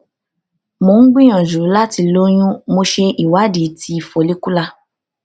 mo ń gbìyànjú láti lóyún mo ṣe ìwádìí ti follicular